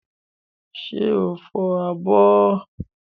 Ṣé o fọ abọ́?